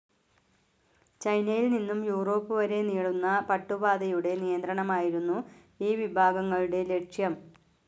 ചൈനയിൽ നിന്നും യുറോപ്പ് വരെ നീളുന്ന പട്ടുപാതയുടെ നിയന്ത്രണമായിരുന്നു ഈ വിഭാഗങ്ങളുടെ ലക്ഷ്യം.